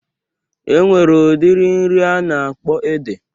Enwere udiri nri a na-akpọ ede.